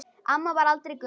Amma varð aldrei gömul.